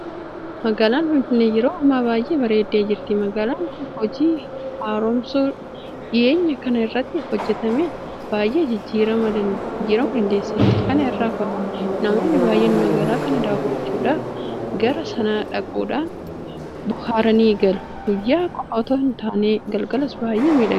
Magaalaan Finfinnee yeroo ammaa baay'ee bareeddee jirti. Magaalaan kun hojii haaromsuu dhiyeenya kana irratti hojjetameen baay'ee jijjiiramuu dandeesseetti. Kana irraa ka'uudhaan namoonni baay'een magaalaa kana daawwachuudhaaf gara sana dhaquudhaan bohaaranii galu. Guyyaa qofa itoo hin taane galgalas baay'ee miidhagdi.